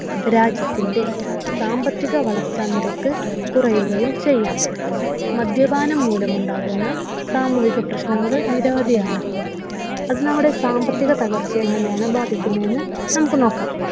രാജ്യത്തിന്റെ സാമ്പത്തിക വളർച്ച നിരക്ക് കുറയുകയും ചെയ്യാം. മദ്യപാനം മൂലം ഉണ്ടാകുന്ന സാമൂഹിക പ്രശ്നങ്ങൾ നിരവധിയാണ്. അത് നമ്മുടെ സാമ്പത്തിക തകർച്ചയെ എങ്ങനെയാണ് ബാധിക്കുന്നതെന്ന് നമുക്ക് നോക്കാം.